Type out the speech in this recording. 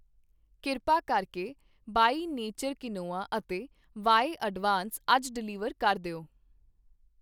ਕਿਰਪਾ ਕਰਕੇ ਬਈ ਨੇਚਰ ਕੁਇਨੋਆ ਅਤੇ ਵਾਏ ਅਡਾਵਾਂਸ ਅੱਜ ਡਿਲੀਵਰ ਕਰ ਦਿਓ।